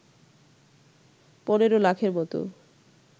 ১৫ লাখের মতো